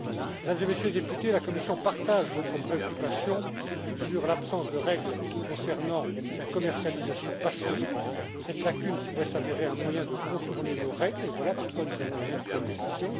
Mesdames et Messieurs les députés, la Commission partage votre préoccupation sur l'absence de règles concernant la commercialisation passive. Cette lacune pourrait s'avérer un moyen de contourner nos règles, et voilà pourquoi nous avons la même préoccupation.